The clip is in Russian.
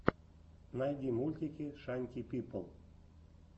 найди мультики шанти пипл